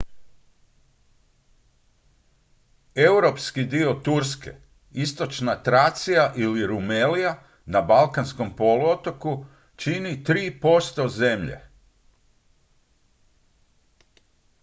europski dio turske istočna tracija ili rumelija na balkanskom poluotoku čini 3 % zemlje